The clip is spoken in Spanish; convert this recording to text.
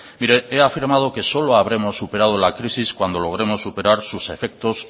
mire he afirmado que solo habremos superado la crisis cuando logremos superar sus efectos